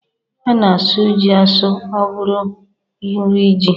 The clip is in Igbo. A na-asụ ji asụ ọ bụrụ nri ji.